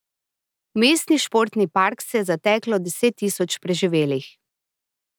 V mestni športni park se je zateklo deset tisoč preživelih.